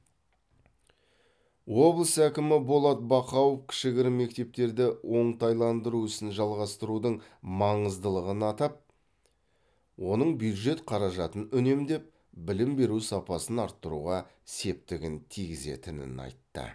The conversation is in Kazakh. облыс әкімі болат бақауов кішігірім мектептерді оңтайландыру ісін жалғастырудың маңыздылығын атап оның бюджет қаражатын үнемдеп білім беру сапасын арттыруға септігін тигізетінін айтты